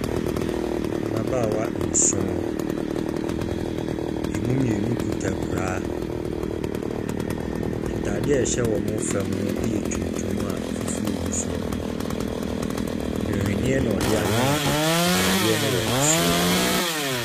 Mbabaawa nson. Emu mmienu kuta kura. Ntaadeɛ a ɛhyɛ wɔn fam no yɛ tuntum a fofuo gu soɔ. Nwenneɛ na ɔde anwene ataadeɛ wɔ so.